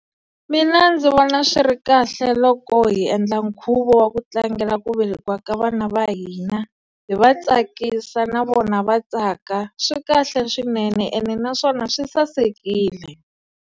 Mina ndzi vona swi ri kahle loko hi endla nkhuvo wa ku tlangela ku velekiwa ka vana va hina, hi va tsakisa na vona va tsaka. Swi kahle swinene ene naswona swi sasekile.